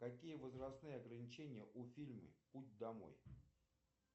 какие возрастные ограничения у фильма путь домой